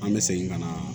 An bɛ segin ka na